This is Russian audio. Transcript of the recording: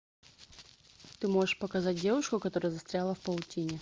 ты можешь показать девушку которая застряла в паутине